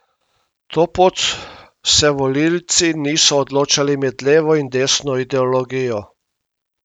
To pot se volilci niso odločali med levo in desno ideologijo.